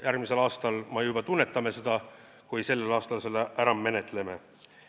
Järgmisel aastal me juba tunnetame seda, kui selle sellel aastal ära menetleme.